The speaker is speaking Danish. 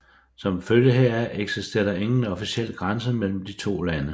Som følge heraf eksisterer der ingen officiel grænse mellem de to lande